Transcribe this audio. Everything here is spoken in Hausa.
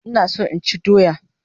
Ina so inchi doya